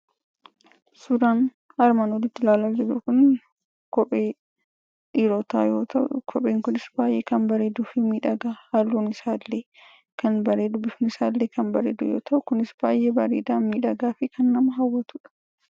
Suuraan armaan olitti amma ilaalaa jirru Kun, kophee dhiirotaa yoo ta'u, kopheen kunis baayyee kan bareeduu fi miidhagaa, halluun isaa illee kan bareedu, bifni isaa illee kan bareedu yoo ta'u, baayyee bareeda, miidhagaa nama hawwatudha.